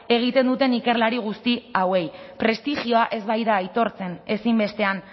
egiten duten ikerlari guzti hauei prestigioa ez baita aitortzen ezinbestean